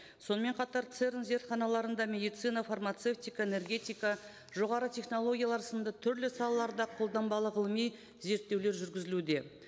сонымен қатар церн зертханаларында медицина фармацевтика энергетика жоғары технологиялар сынды түрлі салаларда қолданбалы ғылыми зерттеулер жүргізілуде